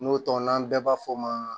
N'o tɔ n'an bɛɛ b'a fɔ o ma